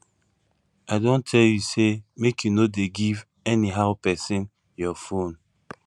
i don tell you say make you no dey give anyhow person your phone